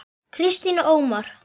Kristín og Ómar.